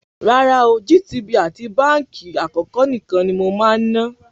Rárá ooo, GTB àti Báńkì Àkọ́kọ́ nìkan ni mo máa ń ná.